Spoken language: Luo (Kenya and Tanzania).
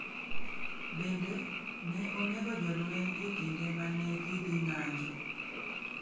Bende, ne onego jolweny e kinde ma ne gidhi ng’anjo.